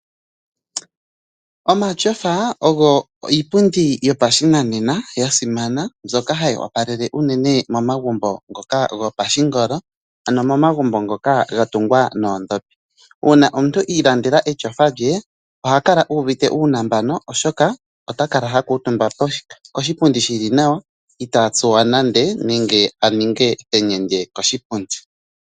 Omatyofa ogo iipundi yopashinanena ya simana mbyoka hayi opalele uunene momagumbo ngoka gopashingolo ano momagumbo ngoka ga tungwa noondhopi. Uuna omuntu ii landela etyofa oha kala uuvite uunambano, otaka la ha kuutumba koshipundi shili nawa itaa tsuwa nande nenge aninge enyende koshipundi.